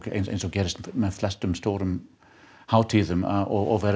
eins og gerist með flestar stórar hátíðir og